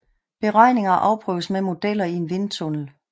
Beregninger afprøves med modeller i en vindtunnel